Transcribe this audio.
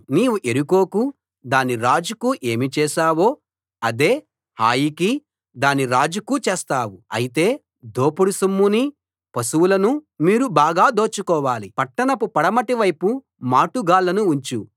నీవు యెరికోకూ దాని రాజుకూ ఏమి చేశావో అదే హాయికీ దాని రాజుకూ చేస్తావు అయితే దోపుడు సొమ్మునీ పశువులనూ మీరు బాగా దోచుకోవాలి పట్టణపు పడమటి వైపు మాటుగాళ్ళను ఉంచు